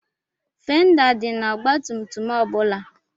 Fenda dị n'ọgbatumtum ọ bụla.